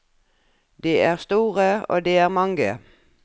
De er store, og de er mange.